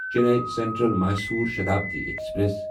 Chennai central Mysore Shatabdi express